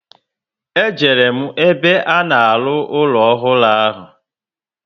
E jere m ebe a na-aru ụlọ ọhụrụ ahụ